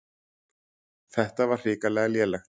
Þetta var hrikalega lélegt.